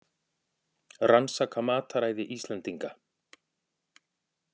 Rannsaka mataræði Íslendinga